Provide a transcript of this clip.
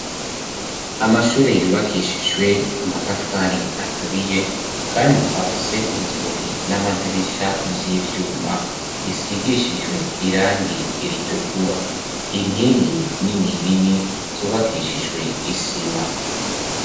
Amashure yubakishijwe amatafari aturiye kandi afise inzugi n'amadirisha by'ivyuma bisigishijwe irangi ritukura. Inkingi nini nini zubakishijwe isima.